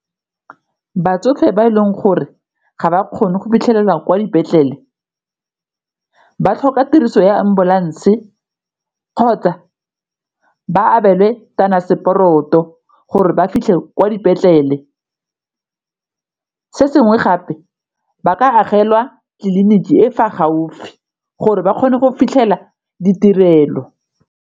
Batsofe ba e leng gore ga ba kgone go fitlhelela kwa dipetlele ba tlhoka tiriso ya ambulance kgotsa ba abelwe gore ba fitlhe kwa dipetlele, se sengwe gape ba ka agelwa tliliniki e fa gaufi gore ba kgone go fitlhela ditirelo.